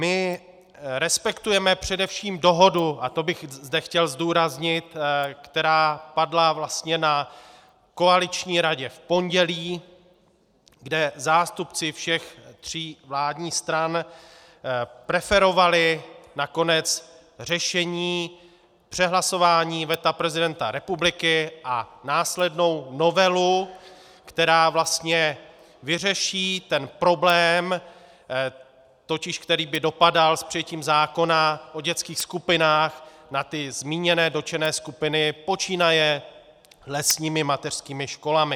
My respektujeme především dohodu, a to bych zde chtěl zdůraznit, která padla vlastně na koaliční radě v pondělí, kde zástupci všech tří vládních stran preferovali nakonec řešení přehlasování veta prezidenta republiky a následnou novelu, která vlastně vyřeší ten problém, totiž který by dopadal s přijetím zákona o dětských skupinách na ty zmíněné dotčené skupiny počínaje lesními mateřskými školami.